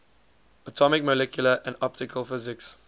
atomic molecular and optical physics